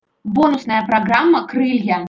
бонусная программа крылья